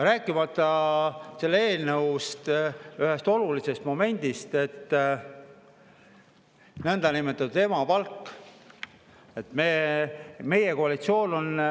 Rääkimata selle eelnõu ühest olulisest momendist: nõndanimetatud emapalk.